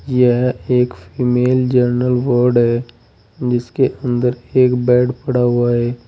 यह एक female general ward है जिसके अंदर एक बेड पड़ा हुआ है।